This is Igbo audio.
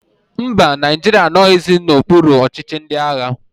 Mba, Naijiria anoghizi n'okpuru ọchịchị ndị agha